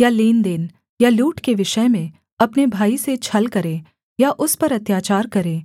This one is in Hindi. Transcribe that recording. या लेनदेन या लूट के विषय में अपने भाई से छल करे या उस पर अत्याचार करे